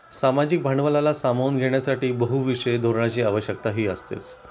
सामाजिक भांडवलाला सामावून घेण्यासाठी बहुविषयी धोरणाची आवश्यकताही असतेच